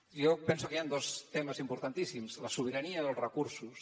jo penso que hi han dos temes importantíssims la sobirania i els recursos